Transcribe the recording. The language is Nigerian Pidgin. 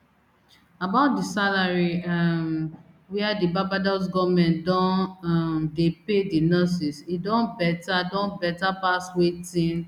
about di salary um wia di barbados goment don um dey pay di nurses e don beta don beta pass wetin